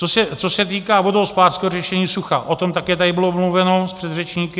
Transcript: Co se týká vodohospodářského řešení sucha, o tom také tady bylo mluveno s předřečníky.